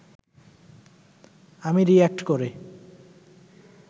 আমি রিঅ্যাক্ট করে